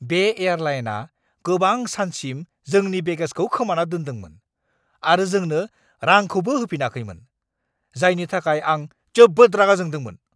बे एयारलाइना गोबां सानसिम जोंनि बेगेजखौ खोमाना दोन्दोंमोन आरो जोंनो रांखौबो होफिनाखैमोन, जायनि थाखाय आं जोबोद रागा जोंदोंमोन।